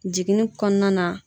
Jiginni kɔnɔna na.